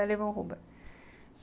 L. Ron Hubbard